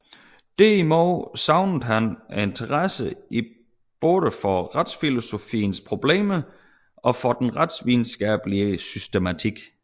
Derimod savnede han interesse både for retsfilosofiens problemer og for den retsvidenskabelige systematik